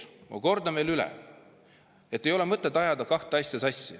Kordan veel: ei ole mõtet ajada sassi kahte asja.